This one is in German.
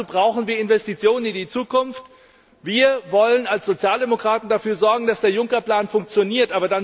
Aber dazu brauchen wir Investitionen in die Zukunft. Wir wollen als Sozialdemokraten dafür sorgen, dass der Juncker Plan funktioniert.